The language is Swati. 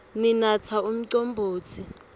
sinatsa umcombotsi